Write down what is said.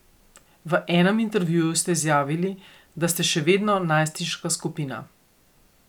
V enem intervjuju ste izjavili, da ste še vedno najstniška skupina.